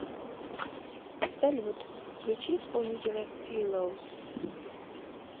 салют включи исполнителя филоуз